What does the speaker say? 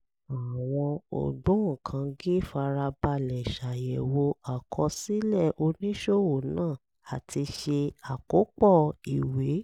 àwọn ògbóǹkangí fara balẹ̀ ṣàyẹ̀wò àkọsílẹ̀ oníṣòwò náà àti ṣe àkópọ̀ ìwé